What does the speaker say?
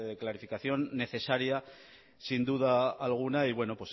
clarificación necesaria sin duda alguna y bueno